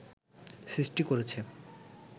সৃষ্টি করেছে